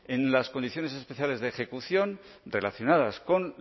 en las condiciones especiales de ejecución relacionadas con